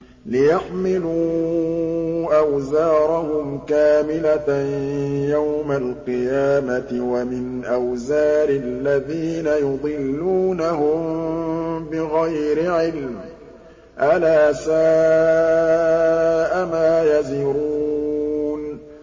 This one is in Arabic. لِيَحْمِلُوا أَوْزَارَهُمْ كَامِلَةً يَوْمَ الْقِيَامَةِ ۙ وَمِنْ أَوْزَارِ الَّذِينَ يُضِلُّونَهُم بِغَيْرِ عِلْمٍ ۗ أَلَا سَاءَ مَا يَزِرُونَ